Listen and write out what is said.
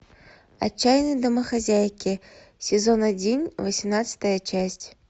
отчаянные домохозяйки сезон один восемнадцатая часть